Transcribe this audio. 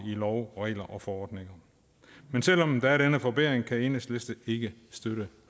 love regler og forordninger men selv om der er denne forbedring kan enhedslisten ikke støtte